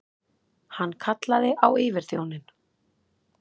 Hann kallaði á yfirþjóninn.